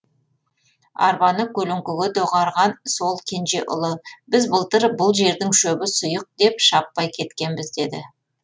арбаны көлеңкеге доғарған сол кенже ұлы біз былтыр бұл жердің шөбі сұйық деп шаппай кеткенбіз деді